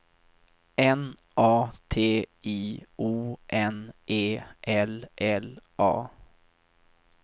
N A T I O N E L L A